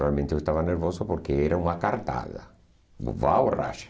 Realmente eu estava nervoso porque era uma cartada.